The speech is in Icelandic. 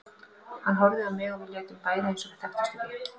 Hann horfði á mig og við létum bæði eins og við þekktumst ekki.